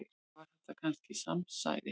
Var þetta kannski samsæri?